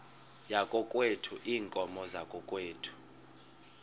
yakokwethu iinkomo zakokwethu